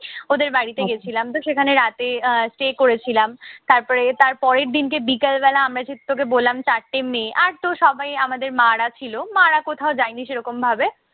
ওদের বাড়িতে গেছিলাম। তো সেখানে রাতে আহ stay করেছিলাম। তারপরে তারপরের দিনকে বিকালবেলা আমরা সেই তোকে বললাম চারটে মেয়ে, আরতো সবাই আমার মা-রা ছিল। মা-রা কোথাও যায়নি সেই রকমভাবে।